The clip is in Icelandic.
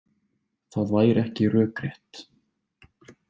Það væri ekki rökrétt.